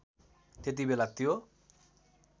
त्यति बेला त्यो